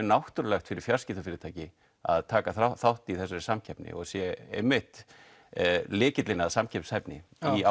náttúrulegt fyrir fjarskiptafyrirtæki að taka þátt í þessari samkeppni og sé einmitt lykillinn í samkeppnishæfni í